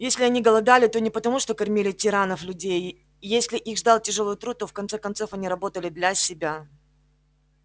если они голодали то не потому что кормили тиранов-людей если их ждал тяжёлый труд то в конце концов они работали для себя